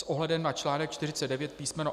S ohledem na článek 49 písm.